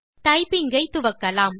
typing ஐ துவக்கலாம்